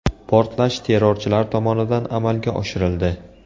Portlash terrorchilar tomonidan amalga oshirildi.